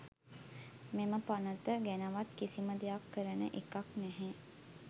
මෙම පනත ගැනවත් කිසිම දෙයක් කරන එකක් නැහැ.